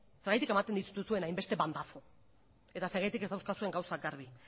zergatik ematen dituzuen hainbeste bandazo eta zergatik ez dauzkazuen gauzak garbi